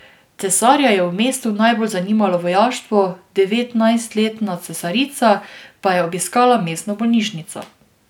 Cesarja je v mestu najbolj zanimalo vojaštvo, devetnajstletna cesarica pa je obiskala mestno bolnišnico.